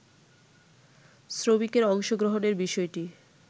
শ্রমিকের অংশগ্রহণের বিষয়টি